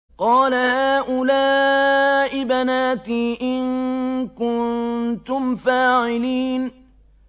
قَالَ هَٰؤُلَاءِ بَنَاتِي إِن كُنتُمْ فَاعِلِينَ